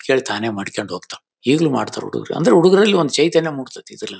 ಕೇಳತ್ತಾನೆ ಮಾಡ್ ಕೊಂಡ್ ಹೊಗ್ ತವ್ ಈಗ್ ಲ್ಲು ಮಾಡ್ ತವ್ ಹುಡುಗ್ರು ಹುಡಗ್ರಲ್ಲಿ ಚೈತನ್ಯ ಮೂಡ್ ತ್ಯ ತಿ .]